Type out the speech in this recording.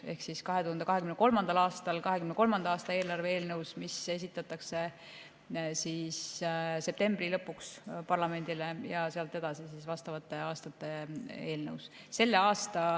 Ehk siis 2023. aastal 2023. aasta eelarve eelnõus, mis esitatakse septembri lõpuks parlamendile, ja sealt edasi siis vastava aasta eelnõus.